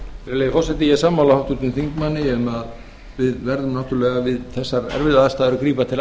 virðulegi forseti ég er sammála háttvirtum þingmanni um að við verðum náttúrlega við þessar erfiðu aðstæður að grípa til